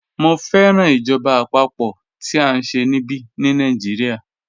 Mọ̀ fẹ́ràn ìjọba apapo tí a nṣẹ̀ níbí ní Nàìjíríà